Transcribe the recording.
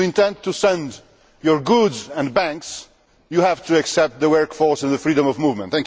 If you intend to export your goods and banks, you have to accept the workforce and the freedom of movement.